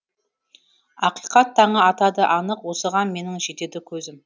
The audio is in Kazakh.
ақиқат таңы атады анық осыған менің жетеді көзім